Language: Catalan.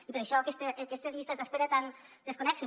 i per això aquestes llistes d’espera tan inconnexes